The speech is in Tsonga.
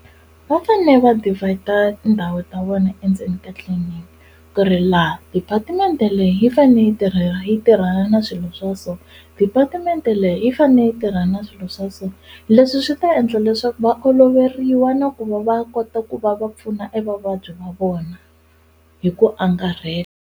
Va fane va divider tindhawu ta vona endzeni tliliniki ku ri laha department leyi yi fane yi tirhela yi tirhana na swilo swa so department leyi yi fane yi tirhana na swilo swa so leswi swi ta endla leswaku va oloveriwa na ku va va kota ku va va pfuna e vavabyi va vona hi ku angarhela.